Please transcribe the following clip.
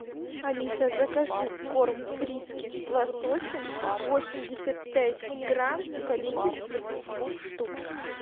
алиса закажи корм фрискис с лососем восемьдесят пять грамм в количестве двух штук